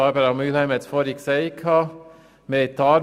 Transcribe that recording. Barbara Mühlheim hat es vorhin erwähnt.